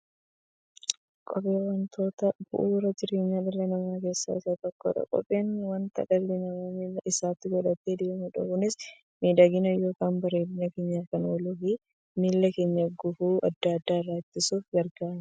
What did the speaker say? Kopheen wantoota bu'uura jireenya dhala namaa keessaa isa tokkodha. Kopheen wanta dhalli namaa miilla isaatti godhatee deemudha. Kunis miidhagani yookiin bareedina keenyaf kan ooluufi miilla keenya gufuu adda addaa irraa ittisuuf gargaara.